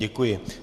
Děkuji.